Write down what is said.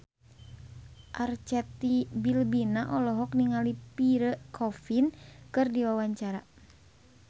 Arzetti Bilbina olohok ningali Pierre Coffin keur diwawancara